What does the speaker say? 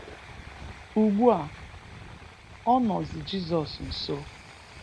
Ugbu a, ọ nọzi Jizọs nso.